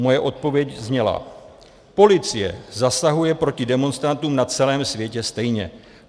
Moje odpověď zněla: Policie zasahuje proti demonstrantům na celém světě stejně.